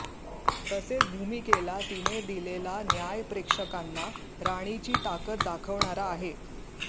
तसेच भूमिकेला तिने दिलेला न्याय प्रेक्षकांना राणीची ताकद दाखवणारा आहे